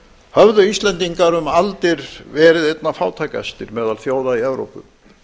höfðu íslendingar um aldir verið einna fátækastir meðal þjóða í evrópu